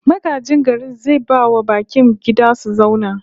Magajin garin zai bai wa bakin gida su zauna